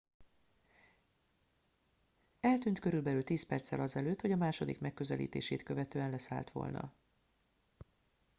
eltűnt körülbelül tíz perccel azelőtt hogy a második megközelítését követően leszállt volna